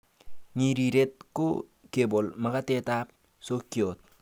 Ng'iriret ko kebol makatetab sokiot.